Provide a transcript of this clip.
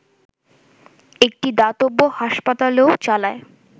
একটি দাতব্য হাসপাতালও চালায়